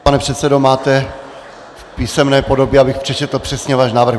Pane předsedo, máte v písemné podobě, abych přečetl přesně váš návrh?